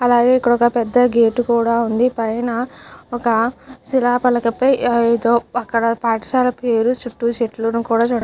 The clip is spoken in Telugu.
అలాగే ఇక్కడ ఒక పెద్ద గేట్ కూడా వుంది. పైన ఒక శిలాఫలకపై అక్కడ పాఠశాలకు ఏదో చుట్టూ చెట్లు--